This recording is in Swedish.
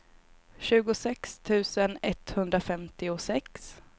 tjugosex tusen etthundrafemtiosex